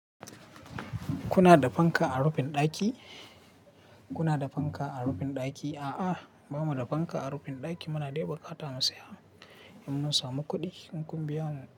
Kuna da fanka a rufin ɗaki? Kuna da fanka a rufin ɗaki? A'a, ba mu da fanka a rufin ɗaki. Muna dai bukata mu saya, in mun samu kuɗi in kun biya mu.